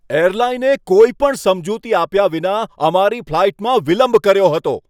એરલાઈને કોઈ પણ સમજૂતી આપ્યા વિના અમારી ફ્લાઈટમાં વિલંબ કર્યો હતો.